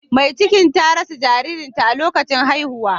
Mai cikin ta rasa jaririn ta a lokacin haihuwa.